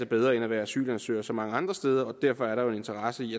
bedre end at være asylansøger så mange andre steder og derfor er der jo en interesse i